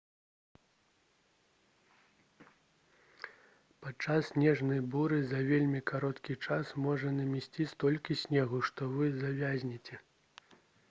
падчас снежнай буры за вельмі кароткі час можа намесці столькі снегу што вы завязнеце